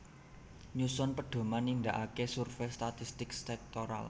Nyusun pedhoman nindakaké survei statistik sektoral